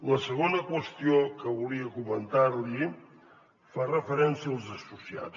la segona qüestió que volia comentar li fa referència als associats